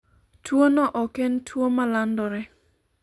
tuono ok en tuo ma landore